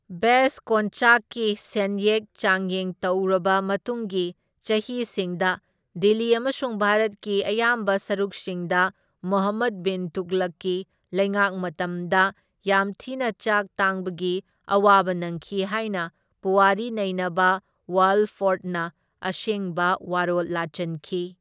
ꯕꯦꯁ ꯀꯣꯟꯆꯥꯛꯀꯤ ꯁꯦꯟꯌꯦꯛ ꯆꯥꯡꯌꯦꯡ ꯇꯧꯔꯕ ꯃꯇꯨꯡꯒꯤ ꯆꯍꯤꯁꯤꯡꯗ ꯗꯤꯜꯂꯤ ꯑꯃꯁꯨꯡ ꯚꯥꯔꯠꯀꯤ ꯑꯌꯥꯝꯕ ꯁꯔꯨꯛꯁꯤꯡꯗ ꯃꯨꯍꯝꯃꯗ ꯕꯤꯟ ꯇꯨꯒꯂꯛꯀꯤ ꯂꯩꯉꯥꯛ ꯃꯇꯝꯗ ꯌꯥꯝ ꯊꯤꯅ ꯆꯥꯛ ꯇꯥꯡꯕꯒꯤ ꯑꯋꯥꯕ ꯅꯪꯈꯤ ꯍꯥꯏꯅ ꯄꯨꯋꯥꯔꯤ ꯅꯩꯅꯕ ꯋꯥꯜꯐꯣꯔꯗꯅ ꯑꯁꯦꯡꯕ ꯋꯥꯔꯣꯜ ꯂꯥꯆꯟꯈꯤ꯫